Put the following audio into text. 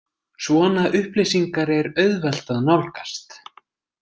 Svona upplýsingar er auðvelt að nálgast.